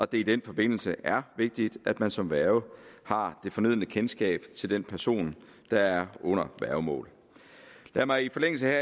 det i den forbindelse er vigtigt at man som værge har det fornødne kendskab til den person der er under værgemål lad mig i forlængelse